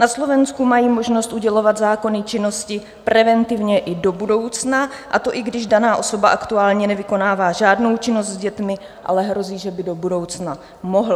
Na Slovensku mají možnost udělovat zákony činnosti preventivně i do budoucna, a to i když daná osoba aktuálně nevykonává žádnou činnost s dětmi, ale hrozí, že by do budoucna mohla.